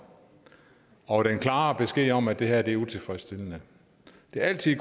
og den klare besked om at det her er utilfredsstillende det er altid